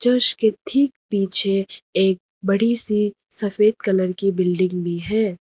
उसके ठीक पीछे एक बड़ी सी सफेद कलर की बिल्डिंग भी है।